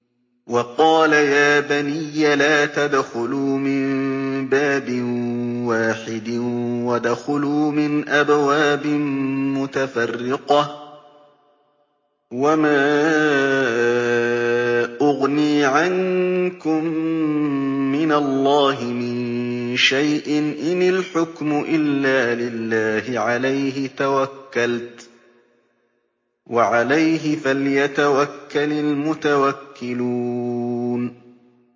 وَقَالَ يَا بَنِيَّ لَا تَدْخُلُوا مِن بَابٍ وَاحِدٍ وَادْخُلُوا مِنْ أَبْوَابٍ مُّتَفَرِّقَةٍ ۖ وَمَا أُغْنِي عَنكُم مِّنَ اللَّهِ مِن شَيْءٍ ۖ إِنِ الْحُكْمُ إِلَّا لِلَّهِ ۖ عَلَيْهِ تَوَكَّلْتُ ۖ وَعَلَيْهِ فَلْيَتَوَكَّلِ الْمُتَوَكِّلُونَ